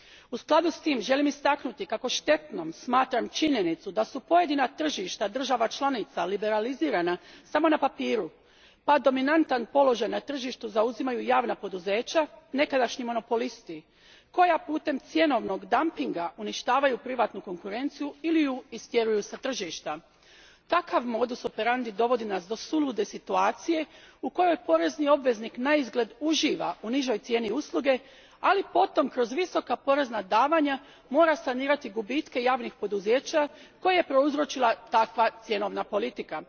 U skladu s tim želim istaknuti kako štetnom smatram činjenicu da su pojedina tržišta država članica liberalizirana samo na papiru pa dominantan položaj na tržištu zauzimaju javna poduzeća nekadašnji monopolisti, koja putem cjenovnog dampinga uništavaju privatnu konkurenciju ili je istjeruju s tržišta. Takav modus operandi dovodi nas do sulude situacije u kojoj porezni obveznik naizgled uživa u nižoj cijeni usluge, ali potom kroz visoka porezna davanja mora sanirati gubitke javnih poduzeća koje je prouzročila takva cjenovna politika.